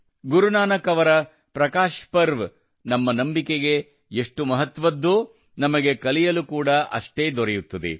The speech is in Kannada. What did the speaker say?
ಗುರು ನಾನಕ್ ಅವರ ಪ್ರಕಾಶ್ ಪರ್ವ್ ನಮ್ಮ ನಂಬಿಕೆಗೆ ಎಷ್ಟು ಮಹತ್ವದ್ದೋ ನಮಗೆ ಕಲಿಯಲು ಕೂಡಾ ಅಷ್ಟೇ ದೊರೆಯುತ್ತದೆ